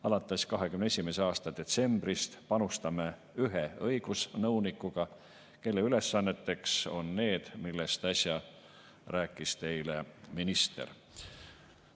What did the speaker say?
Alates 2021. aasta detsembrist panustame ühe õigusnõunikuga, kelle ülesanded on need, millest äsja rääkis teile minister.